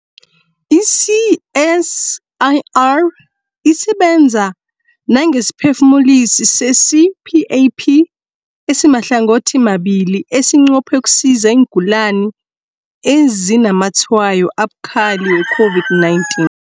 I-CSIR isebenza nangesiphefumulisi se-CPAP esimahlangothimabili esinqophe ukusiza iingulani ezinazamatshwayo abukhali we-COVID-19.